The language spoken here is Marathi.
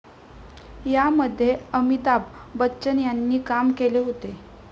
या मध्ये अमिताभ बच्चन यांनी काम केले होते.